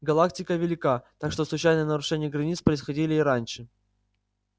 галактика велика так что случайные нарушения границ происходили и раньше